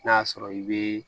N'a y'a sɔrɔ i bɛ